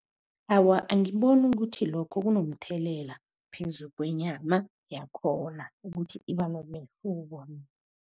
Awa, angiboni ukuthi lokho kunomthelela phezulu kwenyama yakhona. Ukuthi iba nomehluko.